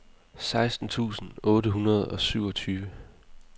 seksten tusind otte hundrede og syvogtyve